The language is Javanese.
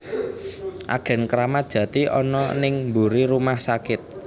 Agen Kramat Jati ono ning mburi rumah sakit